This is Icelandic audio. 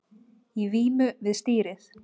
Í vímu við stýrið